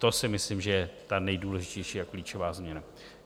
To si myslím, že je ta nejdůležitější a klíčová změna.